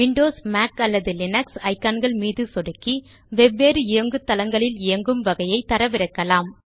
Windows Mac அல்லது Linux icon கள் மீது சொடுக்கி வெவ்வேறு இயங்குதளங்களில் இயங்கும் வகையை தரவிறக்கலாம்